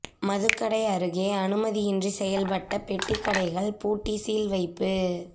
மதுக்கடை அருகே அனுமதியின்றி செயல்பட்ட பெட்டிக் கடைகள் பூட்டி சீல் வைப்பு